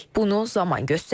Bunu zaman göstərəcək.